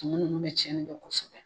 Tumu nunnu bɛ tiɲɛni dɔ kosɛbɛ